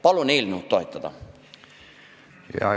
Palun eelnõu toetada!